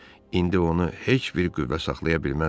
İndi onu heç bir qüvvə saxlaya bilməzdi.